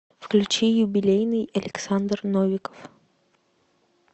включи юбилейный александр новиков